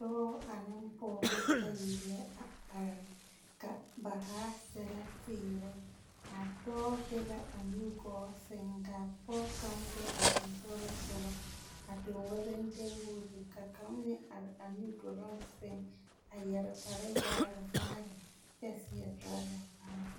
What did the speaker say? Dͻͻ aneŋ pͻgebͻ bayi la a are, ka ba zaa sԑlԑ teere. A dͻͻ be la a nugͻͻ sԑŋ ka a pͻge kaŋ be a sensogelinsogͻ a tuŋ walentiibuute ka kaŋa meŋ are a nu doloŋ sԑŋ a yԑre kpare vaare vaare kyԑ seԑ torͻza kparoo.